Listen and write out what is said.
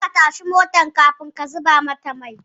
Kar ka tashi motar kafin ka zuba mata mai